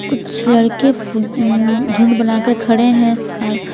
कुछ लड़के अ झुंड बनाकर खड़े हैं आ--